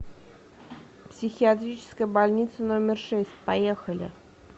психиатрическая больница номер шесть поехали